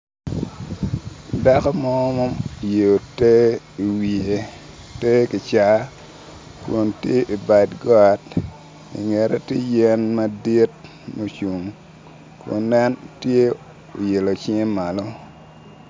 Dako mo ma oyeyo ter iwiye te kicaa kun tye ibad got ingete tye yen madit mucung kun en tye oilo cinge malo